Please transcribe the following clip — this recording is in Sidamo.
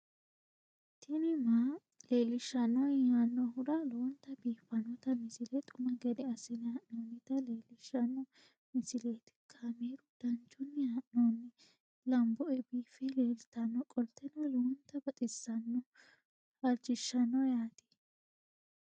tini maa leelishshanno yaannohura lowonta biiffanota misile xuma gede assine haa'noonnita leellishshanno misileeti kaameru danchunni haa'noonni lamboe biiffe leeeltannoqolten lowonta baxissannoe halchishshanno yaate